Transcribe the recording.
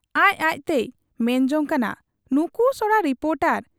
ᱟᱡ ᱟᱡᱛᱮᱭ ᱢᱮᱱ ᱡᱚᱝ ᱠᱟᱱᱟ ᱱᱩᱠᱩ ᱥᱚᱲᱟ ᱨᱤᱯᱚᱴᱚᱨ !